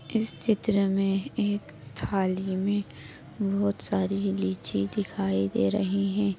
इस चित्र मे एक थाली मे बहुत सारी लीची दिखाई दे रही है।